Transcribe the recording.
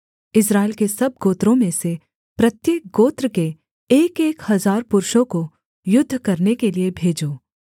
इस्राएल के सब गोत्रों में से प्रत्येक गोत्र के एकएक हजार पुरुषों को युद्ध करने के लिये भेजो